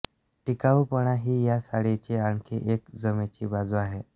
टिकाऊपणा ही या साडीची आणखी एक जमेची बाजू आहे